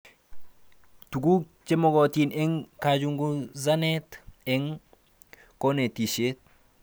Tuguk chemagatin eng kachunguzanet eng konetishet